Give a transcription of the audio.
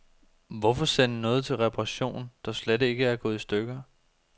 Hvorfor sende noget til reparation, der slet ikke er gået i stykker.